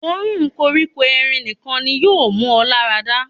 Òórùn koríko erin nìkan ni yóò mú ọ lára dà.